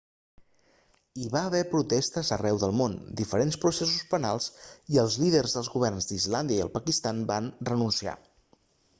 hi va haver protestes arreu del món diferents processos penals i els líders dels governs d'islàndia i el pakistan van renunciar